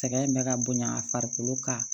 Sɛgɛn bɛ ka bonya a farikolo kan